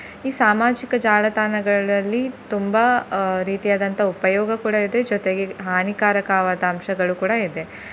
ಈ ಸಾಮಾಜಿಕ ಜಾಲತಾಣಗಳಲ್ಲಿ ತುಂಬಾ ಅಹ್ ರೀತಿಯಾದಂತ ಉಪಯೋಗ ಕೂಡ ಇದೆ ಜೊತೆಗೆ ಹಾನಿಕಾರಕವಾದ ಅಂಶಗಳು ಕೂಡ ಇದೆ.